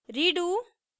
redo